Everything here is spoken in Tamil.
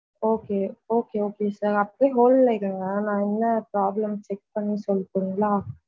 Okay okay sir அப்படியே hold ல இருங்க நா என்ன problem check பண்ணி சொல்லட்டுங்களா.